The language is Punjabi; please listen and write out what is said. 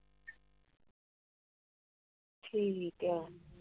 ਠੀਕ ਏ! ਬੱਸ ਚ ਫੇਰ ਜਾਂਦੇ ਸੀ ਮੈ ਪੁੱਛਿਆ ਸੀ ਤੁਹਾਡੀ ਹੋਈ ਨਹੀਂ ਗੱਲਬਾਤ। ਕਹਿੰਦੇ ਉਹ ਨਹੀਂ ਕਰਦੀ ਗੱਲਬਾਤ ਫੇਰ ਅਸੀਂ